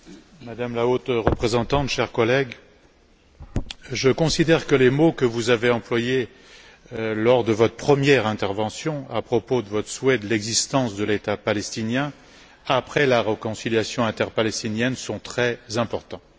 Madame la Présidente, Madame la Haute représentante, chers collègues, je considère que les mots que vous avez employés lors de votre première intervention à propos de votre souhait de l'existence de l'État palestinien, après la réconciliation interpalestinienne, sont très importants.